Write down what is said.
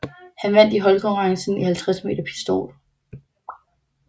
Han vandt i holdkonkurrencen i 50 m pistol